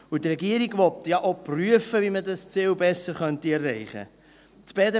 Auch will ja die Regierung prüfen, wie man dieses Ziel besser erreichen kann.